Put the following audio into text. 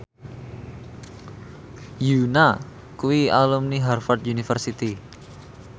Yoona kuwi alumni Harvard university